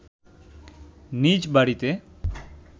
নিজ বাড়িতে